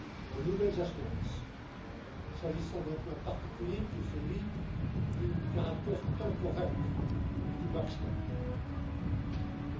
de nouvelles assurances concernant un point particulier, qui est celui du caractère temporaire du filet de sécurité.